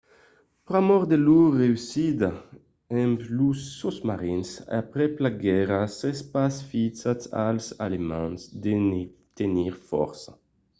pr'amor de lor reüssida amb los sosmarins aprèp la guèrra s'es pas fisat als alemands de ne tenir fòrça